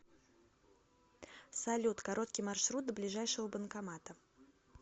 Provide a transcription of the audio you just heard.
салют короткий маршрут до ближайшего банкомата